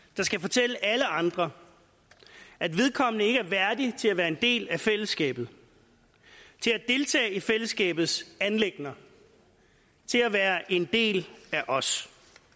der skal fortælle alle andre at vedkommende ikke er værdig til at være en del af fællesskabet til at deltage i fællesskabets anliggender til at være en del af os